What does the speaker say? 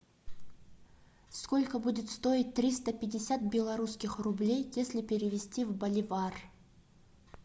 сколько будет стоить триста пятьдесят белорусских рублей если перевести в боливар